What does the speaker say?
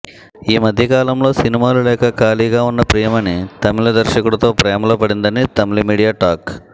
ఈమధ్య కాలంలో సినిమాలు లేక ఖాళీగా ఉన్న ప్రియమణి తమిళ దర్శకుడితో ప్రేమలో పడిందని తమిళ మీడియా టాక్